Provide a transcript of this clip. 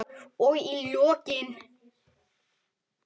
Og í lokin.